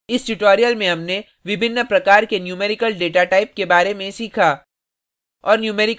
इस tutorial में हमनें विभिन्न प्रकार के numerical डेटाटाइप के बारे में सीखा